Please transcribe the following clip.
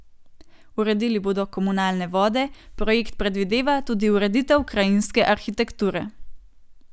Uredili bodo komunalne vode, projekt predvideva tudi ureditev krajinske arhitekture.